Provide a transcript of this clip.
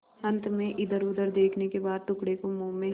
अंत में इधरउधर देखने के बाद टुकड़े को मुँह में